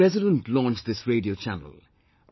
The President launched this radio channel